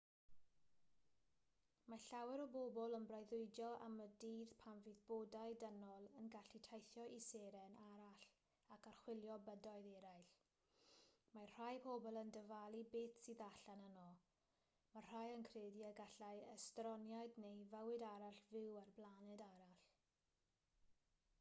mae llawer o bobl yn breuddwydio am y dydd pan fydd bodau dynol yn gallu teithio i seren arall ac archwilio bydoedd eraill mae rhai pobl yn dyfalu beth sydd allan yno mae rhai yn credu y gallai estroniaid neu fywyd arall fyw ar blaned arall